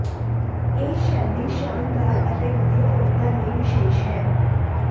ਇਹ ਸ਼ੈਲੀ ਸ਼ਾਨਦਾਰ ਅਤੇ ਵਧੀਆ ਔਰਤਾਂ ਲਈ ਵਿਸ਼ੇਸ਼ ਹੈ